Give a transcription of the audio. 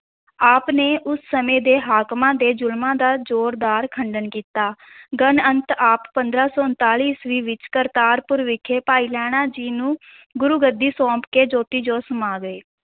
ਆਪ ਨੇ ਉਸ ਸਮੇਂ ਦੇ ਹਾਕਮਾਂ ਦੇ ਜ਼ੁਲਮਾਂ ਦਾ ਜ਼ੋਰਦਾਰ ਖੰਡਨ ਕੀਤਾ ਗਨ ਅੰਤ ਆਪ ਪੰਦਰਾਂ ਸੌ ਉਣਤਾਲੀ ਈਸਵੀ ਵਿੱਚ ਕਰਤਾਰਪੁਰ ਵਿਖੇ ਭਾਈ ਲਹਿਣਾ ਜੀ ਨੂੰ ਗੁਰ ਗੱਦੀ ਸੌਂਪ ਕੇ ਜੋਤੀ ਜੋਤ ਸਮਾ ਗਏ।